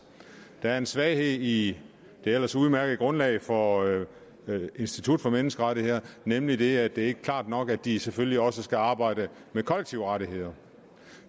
der er en svaghed i det ellers udmærkede grundlag for institut for menneskerettigheder nemlig det at det ikke er klart nok at de selvfølgelig også skal arbejde med kollektive rettigheder